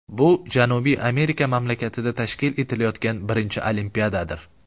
Bu Janubiy Amerika mamlakatida tashkil etilayotgan birinchi Olimpiadadir.